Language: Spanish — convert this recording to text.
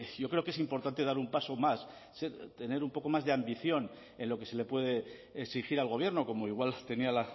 yo creo que es importante dar un paso más tener un poco más de ambición en lo que se le puede exigir al gobierno como igual tenía